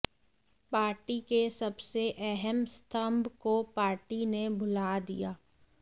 party के सबसे अहम स्तंभ को पार्टी ने भुला दिया